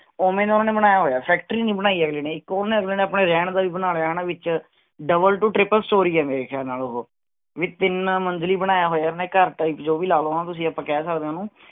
ਉਹਵੇ ਉਨ੍ਹਾਂ ਨੇ ਬਣਾਇਆ ਹੋਇਆ ਹੈ factory ਨਹੀਂ ਬਣਾਈ ਅਗਲੇ ਨੇ ਇਕ ਉਹਨੇ ਅਪਣਾ ਰਹਿਣ ਦਾ ਵੀ ਬਣਾਇਆ ਵਿਚ double to triple story ਹੈ ਮੇਰੇ ਖਿਆਲ ਨਾਲ ਓਹੋ ਵੀ ਤਿਨ ਮੰਜ਼ਿਲੀ ਬਣਾਇਆ ਹੋਇਆ ਹੈ ਘਰ type ਜੋ ਭੀ ਲਗਾ ਲੋ ਹਣਾ ਤੁਸੀਂ ਆਪਾਂ ਕਹਿ ਸਕਦੇ ਆ ਉਹਨੂੰ